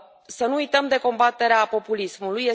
Să nu uităm de combaterea populismului.